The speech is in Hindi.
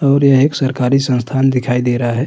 और यह एक सरकारी संस्थान दिखाई दे रहा है।